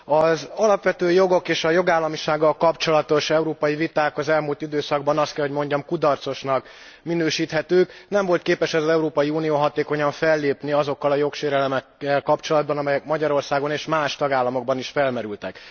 Az alapvető jogok és a jogállamisággal kapcsolatos európai viták az elmúlt időszakban, azt kell hogy mondjam, kudarcosnak minősíthetők. Nem volt képes az Európai Unió hatékonyan fellépni azokkal a jogsérelmekkel kapcsolatban, amelyek Magyarországon, és más tagállamokban is felmerültek.